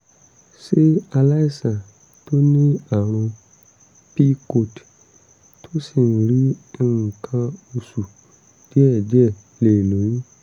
ṣé aláìsàn tó ní àrùn pcod tó sì ń rí nǹkan oṣù díẹ̀díẹ̀ lè lóyún?